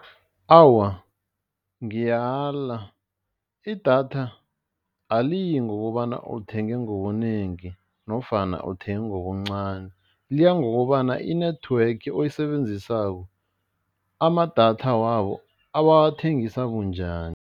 Awa, ngiyala idatha aliyi ngokobana uthenge ngobunengi nofana uthenge ngobuncani, liya ngokobana i-network oyisebenzisako amadatha wabo abawathengisa bunjani.